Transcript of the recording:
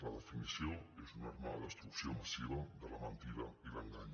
la definició és una arma de destrucció massiva de la mentida i l’engany